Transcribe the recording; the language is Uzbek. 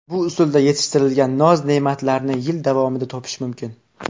Bu usulda yetishtirilgan noz-ne’matlarni yil davomida topish mumkin.